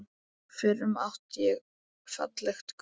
FYRRUM ÁTTI ÉG FALLEG GULL